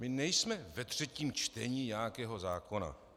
My nejsme ve třetím čtení nějakého zákona.